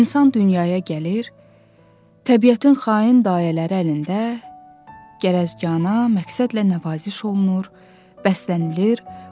İnsan dünyaya gəlir, təbiətin xain dayələri əlində gərəzganə, məqsədlə nəvaziş olunur, bəslənilir.